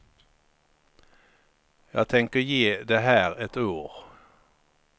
Jag tänker ge det här ett år.